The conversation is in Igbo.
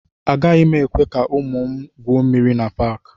Agaghị m ekwe ka ụmụ m na-egwu mmiri na Paakị